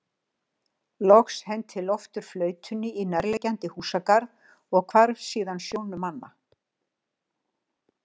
Loks henti Loftur flautunni í nærliggjandi húsagarð og hvarf síðan sjónum manna.